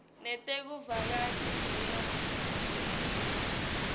netekuvakasha dea t